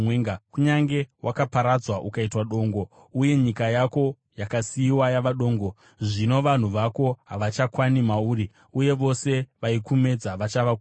“Kunyange wakaparadzwa ukaitwa dongo, uye nyika yako yakasiyiwa yava dongo, zvino vanhu vako havachakwani mauri, uye vose vaikumedza vachava kure.